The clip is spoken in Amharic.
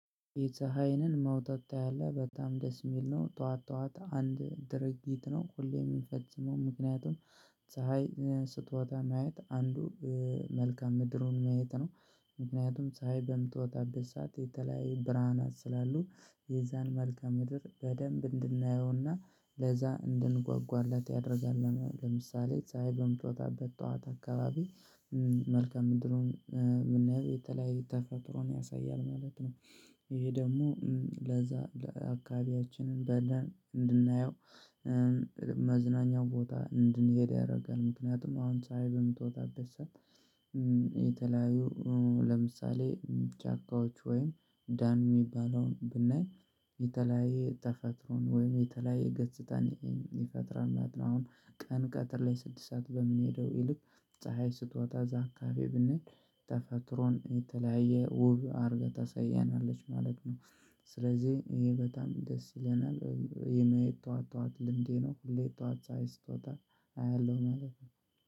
የፀሀይንን መውጣት ታያለህ በጣም ደስ የሚል ነው። ጠዋት ጠዋት አንድ ድርጊት ነው ሁሌም የሚፈጽመው ምክንያቱም ፀሀይ ስትወጣ ማየት አንዱ መልካም ምድሩን ማየት ነው። ምክንያቱም ፀሀይ በምትወጣበት ሰዓት የተለያዩ ብርሃናት ስላሉ የዛን መልከ ምድር በደንብ እንድናየውና ለዛ እንድንጓጓለት ያደርጋል። ለምሳሌ ፀሀይ በምትወጣበት ጠዋት አካባቢ መልካም ምንድነው የምናየው የተለያየ ተፈጥሮን ያሳያል ማለት ነው። ይሄ ደግሞ ለዛ ለአካባቢያችን አንዳለ እንድናየው መዝናኛ ቦታ እንድንሄድ ያደርጋል። ምክንያቱም አሁን ፀሀይ በምትወጣበት ሰዓት የተለያዩ ለምሳሌ ጫካዎች ወይም ዳን የሚባለውን ብናይ የተለያየ ተፈጥሮን ወይም የተለያየ ገጽታን ይፈጥራል ናት ነው። አሁን ቀን ቀትር ላይ ስድሳት በምንሄደው ይልቅ ፀሀይ ስትወጣ አዛ አከባቢ ብንሄድ ተፈጥሮን የተለያየ ውብ አርገ ታሳያናለች ማለት ነው። ስለዚህ ይሄ በጣም ደስ ይለናል የማየት ጠዋት ጠዋት ልምዴ ነው ሁሌ ጠዋት ፀሀይ ስትወጣ አያለሁ ማለት ነው